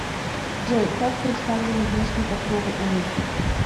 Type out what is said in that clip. джой как представлены внешние покровы у рыб